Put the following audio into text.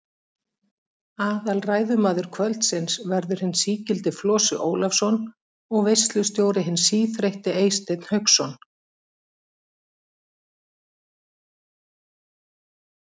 Aðalræðumaður kvöldsins verður hinn sí-gildi Flosi Ólafsson og veislustjóri hinn sí-þreytti Eysteinn Hauksson.